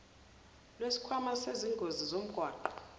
lwesikhwama sezingozi zomgwaqo